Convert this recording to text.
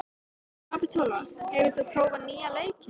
Kapitola, hefur þú prófað nýja leikinn?